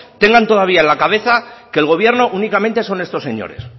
tengan todavía en la cabeza que el gobierno únicamente son estos señores